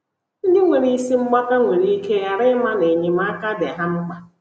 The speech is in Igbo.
Ndị nwere isi mgbaka nwere ike ghara ịma na enyemaka dị ha mkpa.